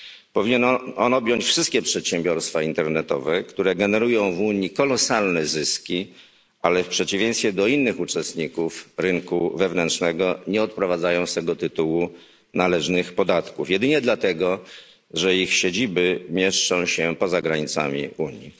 Powinien on objąć wszystkie przedsiębiorstwa internetowe, które generują w Unii kolosalne zyski, ale w przeciwieństwie do innych uczestników rynku wewnętrznego nie odprowadzają z tego tytułu należnych podatków, jedynie dlatego że ich siedziby mieszczą się poza granicami Unii.